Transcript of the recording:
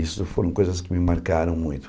Isso foram coisas que me marcaram muito.